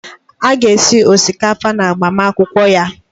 A ga-esi osikapa n'agbamakwụkwọ ya.